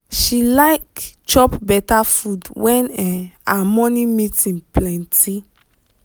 she like chop better food when um her morning meeting plenty.